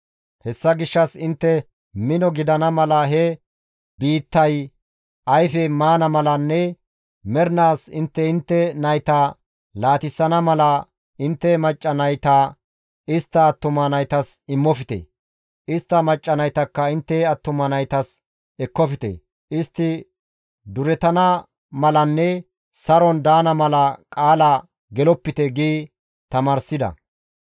Hessa gishshas intte mino gidana mala he biittay ayfe maana malanne mernaas intte intte nayta laatissana mala intte macca nayta istta attuma naytas imofte; istta macca naytakka intte attuma naytas ekkofte; istti durettana malanne saron daana mala qaala gelopite› gi tamaarsida.